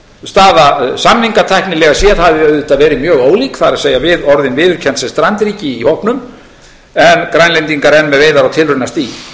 staða samningatæknilega séð hafi auðvitað verið mjög ólík það er við orðin viðurkennd sem strandríki í hópnum en grænlendingar enn með veiðar á tilraunastigi